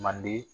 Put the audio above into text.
Manden